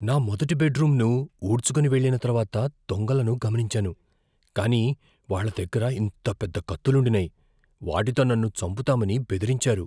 నా మొదటి బెడ్రూమ్ను ఊడ్చుకొని వెళ్ళిన తర్వాత దొంగలను గమనించాను, కాని వాళ్ళ దగ్గర ఇంత పెద్ద కత్తులుండినాయి, వాటితో నన్ను చంపుతామని బెదిరించారు.